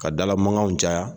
Ka dalamankanw caya